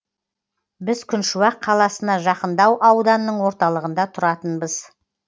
біз күншуақ қаласына жақындау ауданның орталығында тұратынбыз